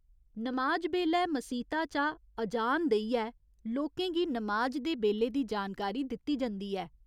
नमाज बेल्लै मसीता चा ''अजान'' देइयै लोके गी नमाज दे बेल्ले दी जानकारी दित्ती जंदी ऐ।